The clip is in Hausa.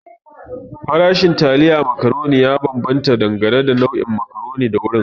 Farashin taliyan macaroni ya bambanta dangane da nau'in macaroni da wurin.